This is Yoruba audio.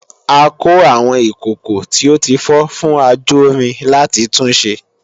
a kó àwọn ìkòkò tí ó tí fọ́ fún ajórin láti tun ṣe